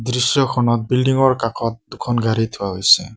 দৃশ্যখনত বিল্ডিং ৰ কাখত দুখন গাড়ী থোৱা হৈছে।